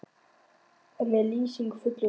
En er Lýsing í fullum rétti?